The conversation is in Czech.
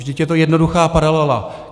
Vždyť je to jednoduchá paralela.